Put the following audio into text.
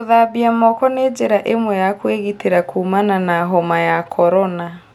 Gũthambia moko nĩ njĩra ĩmwe ya kũĩgitĩra kũũmana na homa ya korona